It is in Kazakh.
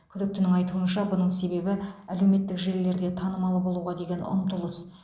күдіктінің айтуынша бұның себебі әлеуметтік желілерде танымал болуға деген ұмтылыс